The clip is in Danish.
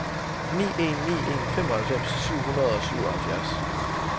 ni en ni en femoghalvfems syv hundrede og syvoghalvfjerds